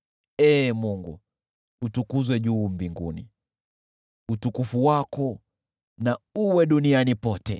Ee Mungu, utukuzwe juu mbinguni, utukufu wako na uwe duniani pote.